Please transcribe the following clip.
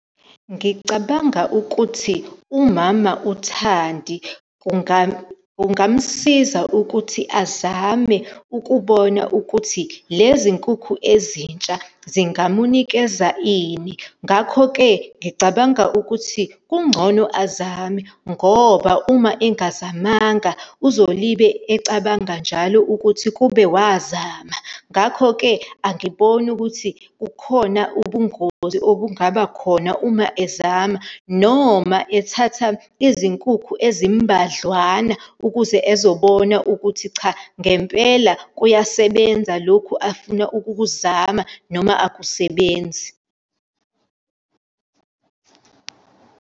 Ngicabanga ukuthi umama uThandi kungamsiza ukuthi azame ukubona ukuthi lezi nkukhu ezintsha ziingamunikeza ini. Ngakho-ke ngicabanga ukuthi kungcono azame, ngoba uma engazamanga, uzolibe ecabanga njalo ukuthi kube wazama. Ngakho-ke, angiboni ukuthi kukhona ubungozi obungaba khona uma ezama noma ethatha izinkukhu ezimbadlwana, ukuze ezobona ukuthi cha, ngempela kuyasebenza lokhu afuna ukukuzama noma akusebenzi.